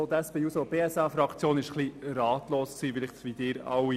Auch die SP-JUSO-PSA-Fraktion war etwas ratlos, möglicherweise wie Sie alle auch.